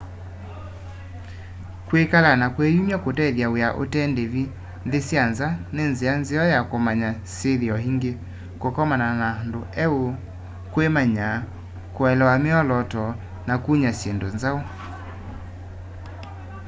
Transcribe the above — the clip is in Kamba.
kwikala na kwiyumwa kutethya wia ute ndivi nthi sya nza ni nzia nzeo ya kumanya syithio ingi kukomana na andu eu kwimanya kuelewa miolooto na kunya syindu nzau